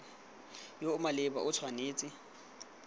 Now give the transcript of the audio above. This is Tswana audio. yo o maleba o tshwanetse